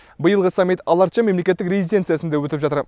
биылғы саммит ала арча мемлекеттік резиденциясында өтіп жатыр